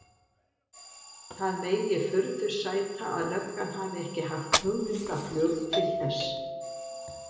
Það megi furðu sæta að löggan hafi ekki haft hugmyndaflug til þess.